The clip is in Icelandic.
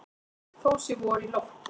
Þó sé vor í lofti.